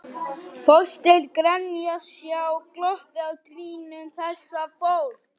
Þorsteinn Grenja Sjá glottið á trýnum þessa fólks.